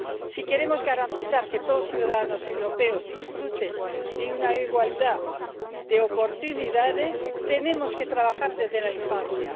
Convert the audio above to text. Si queremos garantizar que todos los ciudadanos europeos disfruten de igualdad de oportunidades tenemos que trabajar desde la infancia.